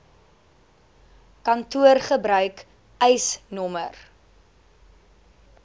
kantoor gebruik eisnr